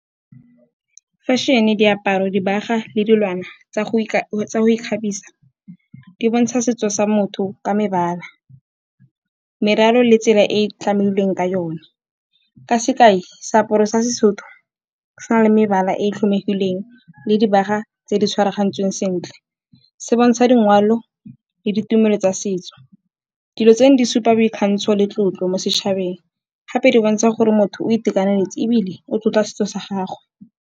Fashion-e, diaparo, dibaga le dilwana tsa go ikgabisa di bontsha setso sa motho ka mebala, meraro le tsela e e tlamehilweng ka yone. Ka sekai, seaparo sa Sesotho se na le mebala e tlhomegileng le dibaga tse di tshwaragantsweng sentle, se bontsha dingwao le ditumelo tsa setso. Dilo tseno di supa boikgantsho le tlotlo mo setšhabeng, gape di bontsha gore motho o itekanetse ebile o tlotla setso sa gagwe.